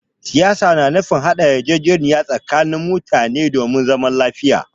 Siyasa na nufin haɗa yarjejeniya tsakanin mutane domin zaman lafiya.